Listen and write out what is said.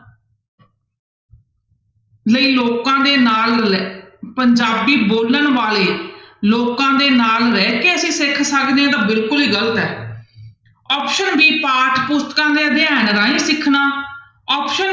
ਲਈ ਲੋਕਾਂ ਦੇ ਨਾਲ ਪੰਜਾਬੀ ਬੋਲਣ ਵਾਲੇ ਲੋਕਾਂ ਦੇ ਨਾਲ ਰਹਿ ਕੇ ਅਸੀਂ ਸਿੱਖ ਸਕਦੇ ਹਾਂ ਤਾਂ ਬਿਲਕੁਲ ਹੀ ਗ਼ਲਤ ਹੈ option b ਪਾਠ ਪੁਸਤਕਾਂ ਦੇ ਅਧਿਐਨ ਰਾਹੀਂ ਸਿੱਖਣਾ option